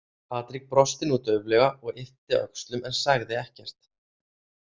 Patrik brosti nú dauflega og yppti öxlum en sagði ekkert.